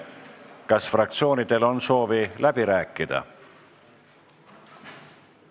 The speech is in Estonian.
Kas fraktsioonidel on soovi läbi rääkida?